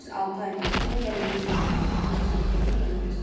Düz altı aydan sonra gələndə gördüm ki, ağaca söykənib məni gözləyir.